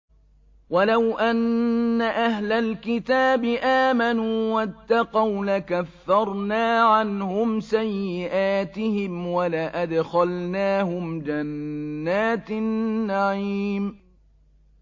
وَلَوْ أَنَّ أَهْلَ الْكِتَابِ آمَنُوا وَاتَّقَوْا لَكَفَّرْنَا عَنْهُمْ سَيِّئَاتِهِمْ وَلَأَدْخَلْنَاهُمْ جَنَّاتِ النَّعِيمِ